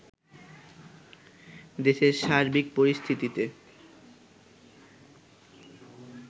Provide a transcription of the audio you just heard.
দেশের সার্বিক পরিস্থিতিতে